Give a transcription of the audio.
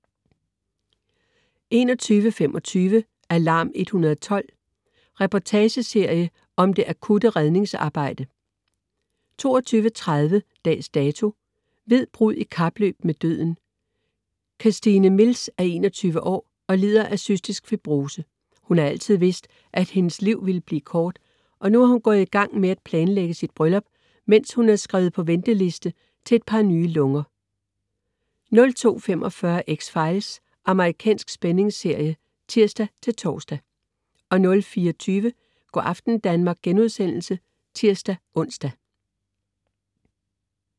21.25 Alarm 112. Reportageserie om det akutte redningsarbejde 22.30 Dags Dato: Hvid brud i kapløb med døden. Kirstine Mills er 21-år og lider af cystisk fibrose. Hun har altid vidst, at hendes liv vlile blive kort, og nu er hun gået i gang med at planlægge sit bryllup, mens hun er skrevet på venteliste til et par nye lunger 02.45 X-Files. Amerikansk spændingsserie (tirs-tors) 04.20 Go' aften Danmark* (tirs-ons)